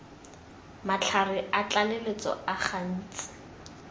matlhare a tlaleletso a gantsi